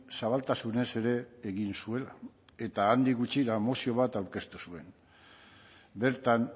zabaltasunez ere egin zuela eta handik gutxira mozio bat aurkeztu zuen bertan